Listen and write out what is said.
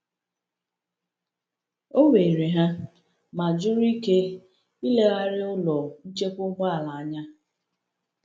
O were ha, ma jụrụ ike ilegharịa ụlọ nchekwa ụgbọala anya.